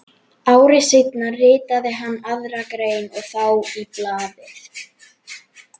Ári seinna ritaði hann aðra grein og þá í blaðið